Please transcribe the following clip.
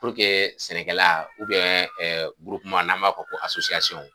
sɛnɛkɛla n'a b'a fɔ ko .